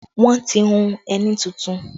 Wọn ti hùn ẹní tuntun